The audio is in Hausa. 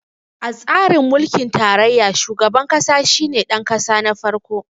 A tsarin mulkin tarayya, shugaban ƙasa shi ne ɗanƙasa na farko.